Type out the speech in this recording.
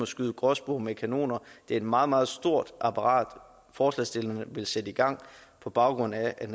skyde gråspurve med kanoner det er et meget meget stort apparat forslagsstillerne vil sætte i gang på baggrund af at